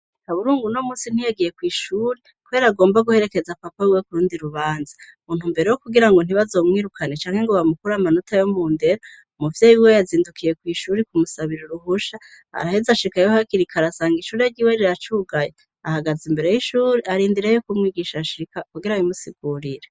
haburungu no munsi ntiyagiye kwishure kubere agomba guherekeza papa wiwe kurundi rubanza muntu mbere wo kugira ngo ntibazomwirukane canke ngo bamukura amanota yo mu ndero umuvyeyi wiwe yazindukiye kwishure kumusabira uruhusha araheze ashikayo hakirikare asanga ishuri ryiwe riracugaye ahagaze imbere y'ishuri arindireyo kumwigisha ashika kugira ngo abimusigurire